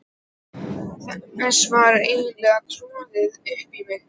Þessu var eiginlega troðið upp á mig.